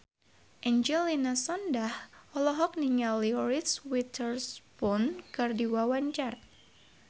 Angelina Sondakh olohok ningali Reese Witherspoon keur diwawancara